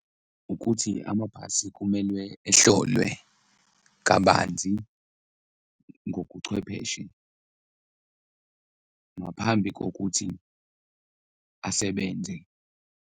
Ukuthi amabhasi kumelwe ehlolwe kabanzi ngokuchwepheshe ngaphambi kokuthi asebenze.